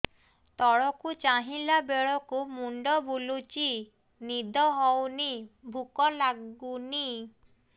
ତଳକୁ ଚାହିଁଲା ବେଳକୁ ମୁଣ୍ଡ ବୁଲୁଚି ନିଦ ହଉନି ଭୁକ ଲାଗୁନି